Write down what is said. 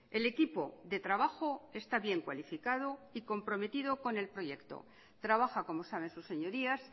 el equipo de trabajo está bien cualificado y comprometido con el proyecto trabaja como saben sus señorías